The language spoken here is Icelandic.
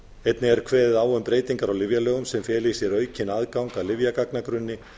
einnig er kveðið á um breytingar á lyfjalögum sem feli í sér aukinn aðgang að lyfjagagnagrunni